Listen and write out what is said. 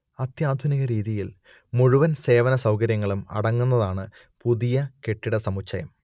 അത്യാധുനിക രീതിയിൽ മുഴുവൻ സേവന സൗകര്യങ്ങളും അടങ്ങുന്നതാണ് പുതിയ കെട്ടിടസമുച്ചയം